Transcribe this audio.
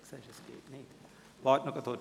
– Es funktioniert nicht, warten Sie kurz.